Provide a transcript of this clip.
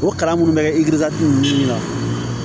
O kalan minnu bɛ kɛ ninnu na